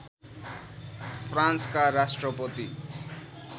फ्रान्सका राष्ट्रपति